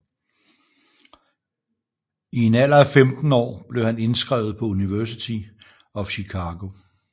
I en alder af 15 år blev han indskrevet på University of Chicago